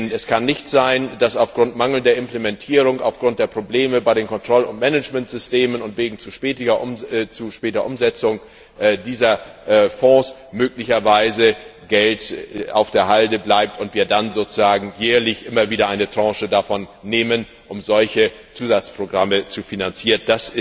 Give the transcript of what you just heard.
Es kann nicht sein, dass aufgrund mangelnder Implementierung, aufgrund der Probleme bei den Kontroll und Managementsystemen und wegen zu später Umsetzung dieser Fonds möglicherweise Geld auf der Halde bleibt und dass wir dann jährlich immer wieder eine Tranche davon nehmen, um solche Zusatzprogramme zu finanzieren.